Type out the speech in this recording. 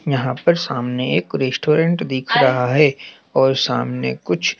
यहां पर सामने एक रेस्टोरेंट दिख रहा है और सामने कुछ--